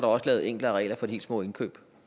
også lavet enklere regler for de helt små indkøb